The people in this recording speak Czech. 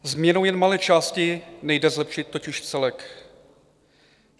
Změnou jen malé části nejde zlepšit totiž celek.